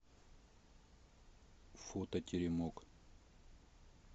фото теремок